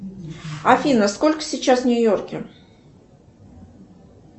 афина сколько сейчас в нью йорке